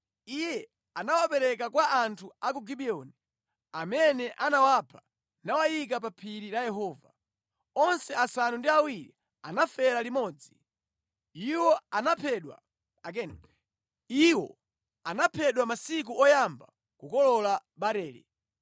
Iye anawapereka kwa anthu a ku Gibiyoni, amene anawapha nawayika pa phiri la Yehova. Onse asanu ndi awiri anafera limodzi. Iwo anaphedwa masiku oyamba kukolola barele.